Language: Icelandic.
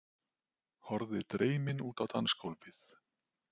Horfði dreymin út á dansgólfið.